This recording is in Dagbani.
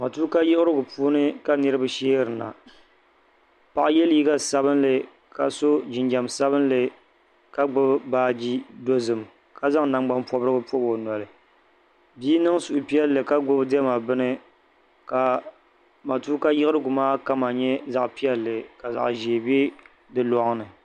Matuuka yiɣrigu puuni ka niriba sheerina. Paɣ' ye liiga sabibinli ka so jinjam sabinli ka gbubi baaji dozim ka zanŋ nangban pobirigu pobi o noli. Bia niŋ suhupielli ka gbubi diema bini ka matuuka yiɣrigu maa kama nye zaɣ'pielli ka zaɣ' ʒee be di loŋ ni.